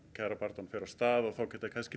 kjarabaráttan fer af stað og þá er kannski